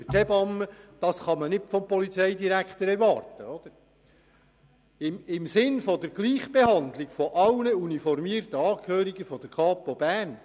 Der Antrag der Kommissionsmehrheit mit dem Stichentscheid des Präsidenten lautet im Sinne der Gleichbehandlung von allen uniformierten Angehörigen der Kapo Bern.